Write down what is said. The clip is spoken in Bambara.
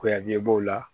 Kuyageb'o la